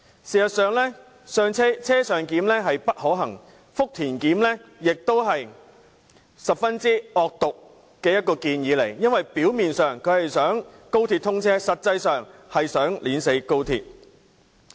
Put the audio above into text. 事實上，"車上檢"並不可行，而"福田檢"亦是十分惡毒的建議，因為表面上是為了高鐵通車，但實際上卻為了扼死高鐵。